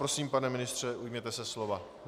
Prosím, pane ministře, ujměte se slova.